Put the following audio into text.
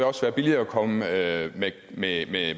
også være billigere at komme med med